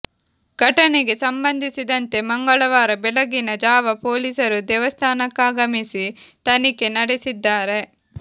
ಘಟನೆಗೆ ಸಂಬಂಧಿಸಿದಂತೆ ಮಂಗಳವಾರ ಬೆಳಗಿನ ಜಾವ ಪೊಲೀಸರು ದೇವಸ್ಥಾನಕ್ಕಾಗಮಿಸಿ ತನಿಖೆ ನಡೆಸಿದ್ದಾರೆ